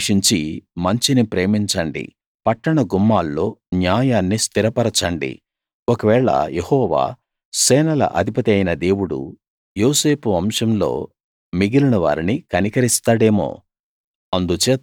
చెడును ద్వేషించి మంచిని ప్రేమించండి పట్టణ గుమ్మాల్లో న్యాయాన్ని స్థిరపరచండి ఒకవేళ యెహోవా సేనల అధిపతి అయిన దేవుడు యోసేపు వంశంలో మిగిలిన వారిని కనికరిస్తాడేమో